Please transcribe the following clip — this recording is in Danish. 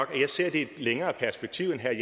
det